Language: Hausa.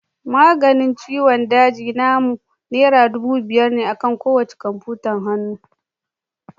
Maganin ciwon daji namu naira dubu biyar akan kowacce kwamfutar hannu